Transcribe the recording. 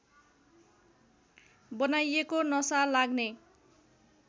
बनाइएको नशा लाग्ने